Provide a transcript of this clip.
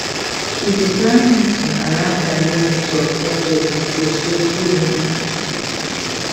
he dey plan meeting around time wey network network dey fail so delay no go catch am